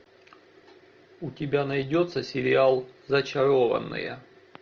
у тебя найдется сериал зачарованные